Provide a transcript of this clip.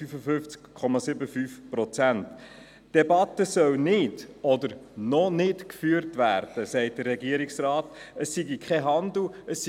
Die Geschäfte der GEF können morgen Abend nicht diskutiert werden, weil Regierungsrat Schnegg nicht anwesend ist.